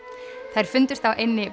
þær fundust á eynni